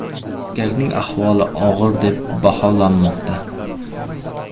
Erkakning ahvoli og‘ir deb baholanmoqda.